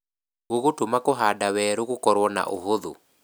Gũgũtũma kũhanda weru gũkorwo na ũhũthũ